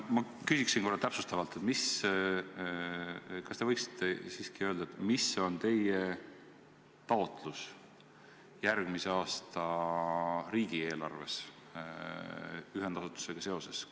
Ma küsin korra täpsustavalt: kas te võiksite siiski öelda, kui suur on teie taotlus järgmise aasta riigieelarvest ühendasutusega seoses?